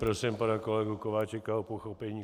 Prosím pana kolegu Kováčika o pochopení.